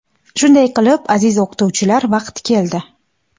Shunday qilib aziz o‘qituvchilar vaqt keldi.